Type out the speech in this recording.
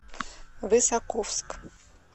высоковск